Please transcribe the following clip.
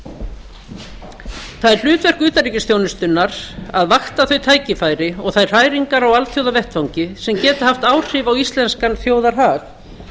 það er hlutverk utanríkisþjónustuna að vakta þau tækifæri og þær hræringar á alþjóðavettvangi sem geta haft áhrif á íslenskan þjóðarhag